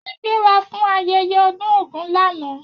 A gbéra fún ayẹyẹ ọdún ògún lànà